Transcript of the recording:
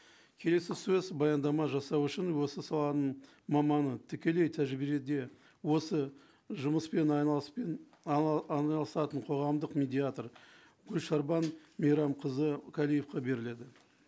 келесі сөз баяндама жасау үшін осы саланың маманы тікелей тәжірибеде осы жұмыспен айналысатын қоғамдық медиатор гүлшарбан мейрамқызы беріледі